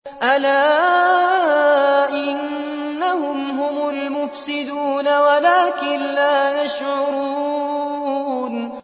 أَلَا إِنَّهُمْ هُمُ الْمُفْسِدُونَ وَلَٰكِن لَّا يَشْعُرُونَ